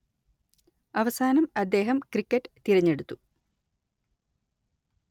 അവസാനം അദ്ദേഹം ക്രിക്കറ്റ് തിരെഞ്ഞെടുത്തു